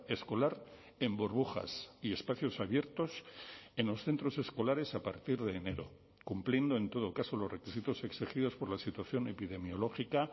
escolar en burbujas y espacios abiertos en los centros escolares a partir de enero cumpliendo en todo caso los requisitos exigidos por la situación epidemiológica